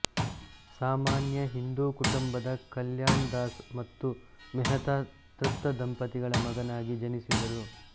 ಸಾಮಾನ್ಯ ಹಿಂದೂ ಕುಟುಂಬದ ಕಲ್ಯಾಣ್ ದಾಸ್ ಮತ್ತು ಮೆಹ್ತಾ ತೃಪ್ತ ದಂಪತಿಗಳ ಮಗನಾಗಿ ಜನಿಸಿದರು